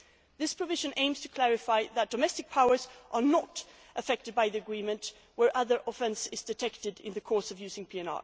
This provision aims to clarify that domestic powers are not affected by the agreement in cases where other offences are detected in the course of using PNR.